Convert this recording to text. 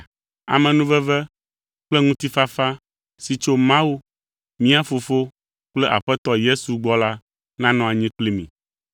Amenuveve kple ŋutifafa si tso Mawu, mía Fofo kple Aƒetɔ Yesu Kristo gbɔ la nanɔ anyi kpli mi.